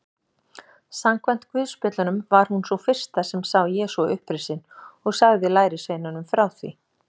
Samkvæmt guðspjöllunum var hún sú fyrsta sem sá Jesú upprisinn og sagði lærisveinunum frá því.